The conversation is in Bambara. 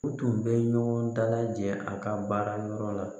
U tun bɛ ɲɔgɔn dalajɛ a ka baara yɔrɔ la